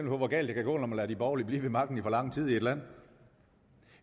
hvor galt det kan gå når man lader de borgerlige blive ved magten i for lang tid i et land